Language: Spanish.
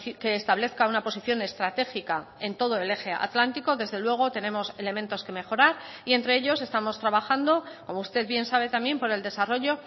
que establezca una posición estratégica en todo el eje atlántico desde luego tenemos elementos que mejorar y entre ellos estamos trabajando como usted bien sabe también por el desarrollo